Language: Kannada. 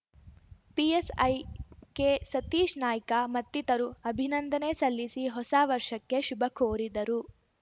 ಪಿಎಸ್‌ಐ ಕೆಸತೀಶ್‌ನಾಯ್ಕ ಮತ್ತಿತರು ಅಭಿನಂದನೆ ಸಲ್ಲಿಸಿ ಹೊಸವರ್ಷಕ್ಕೆ ಶುಭಕೋರಿದರು